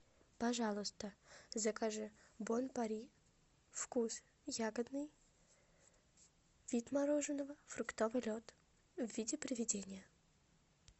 пожалуйста закажи бон пари вкус ягодный вид мороженого фруктовый лед в виде приведения